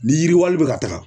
Ni yiriwali bɛ ka taga.